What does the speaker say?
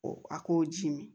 O a k'o ji mi